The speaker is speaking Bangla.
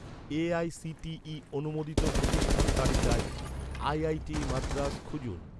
এ.আই.সি.টি.ই অনুমোদিত প্রতিষ্ঠান তালিকায়, আইআইটি মাদ্রাস খুঁজুন